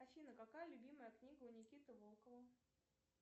афина какая любимая книга у никиты волкова